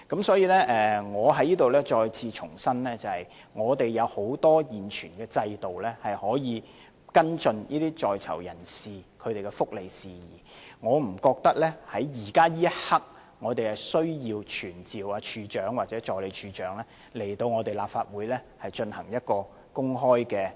所以，我在此重申，我們現存的制度有很多途徑，可以跟進在囚人士的福利事宜，我不覺得現在有需要傳召懲教署署長或助理署長來立法會進行公開質詢。